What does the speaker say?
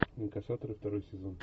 инкассаторы второй сезон